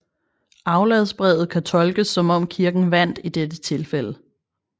Afladsbrevet kan tolkes som om Kirken vandt i dette tilfælde